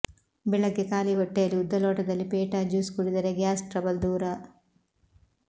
ಬೆಳಗ್ಗೆ ಖಾಲಿ ಹೊಟ್ಟೆಯಲ್ಲಿ ಉದ್ದ ಲೋಟದಲ್ಲಿ ಪೇಟಾ ಜ್ಯೂಸ್ ಕುಡಿದರೆ ಗ್ಯಾಸ್ ಟ್ರಬಲ್ ದೂರ